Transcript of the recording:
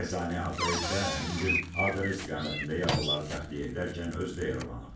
Bərzani Atayev isə həmin gün Ağdərə istiqamətində yaralıları təxliyə edərkən özü də yaralanıb.